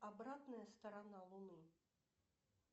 обратная сторона луны